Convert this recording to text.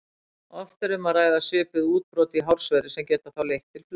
Oft er um að ræða svipuð útbrot í hársverði sem geta þá leitt til flösu.